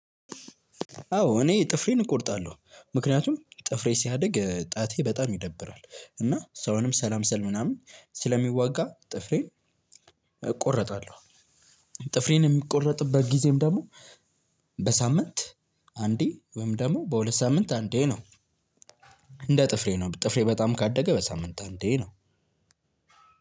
አዎ እኔ ጥፍሬን እቆርጣለሁ ምክንያቱም ጥፍሬ ሲያድግ ጣቴ በጣም ይደብራል እና ሰውንም ሰላም ሰል ምናምን ስለሚዋጋ ጥፍሬን። እቆረጣለሁ። ጥፍሬን የምቆረጥበት ጊዜም ደግሞ በሳምንት አንዴ ወይም ደግሞ በሁለት ሳምንት አንዴ ነው። እንደ ጥፍሬ ነው ጥፍሬ በጣም ካደገ በሳምንት አንዴ ነው።